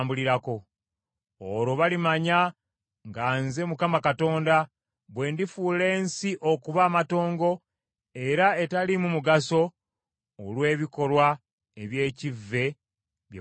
Olwo balimanya nga nze Mukama Katonda, bwe ndifuula ensi okuba amatongo era etaliimu mugaso olw’ebikolwa eby’ekivve bye bakoze.’